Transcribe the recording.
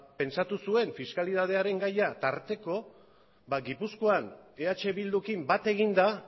pentsatu zuen fiskalitatearen gaia tarteko ba gipuzkoan eh bildukin bat eginda